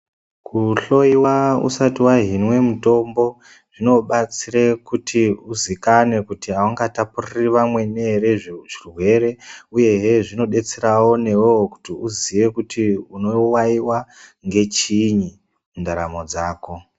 Kuhloyiwa usati wahinwe mutombo zvinobatsira kuti uzikanwe kuti aungatapuriri vamweni ere zvirwere uyehe zvinodetsere newewo kuti uziye kuti unowaiwa ngechiini mundaramo dzako.